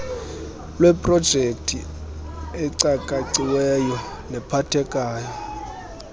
lweeprojekthi ecakaciweyo nephathekayo